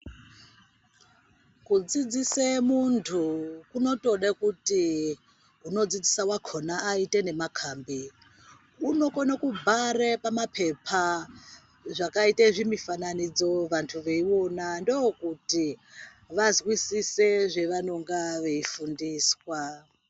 Kudzidzise muntu kunotode kuti unodzidzisa wakhona ayite nemakhambi. Unokone kubhare pamaphepha, zvakaite zvimifananidzo, vantu veyiwona. Ndokuti vazvisise zvavanonga veyifundiswa.